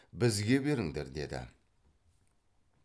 бізге беріңдер деді